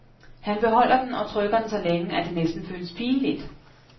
Han beholder den og trykker den så længe, at det næsten føles pinligt.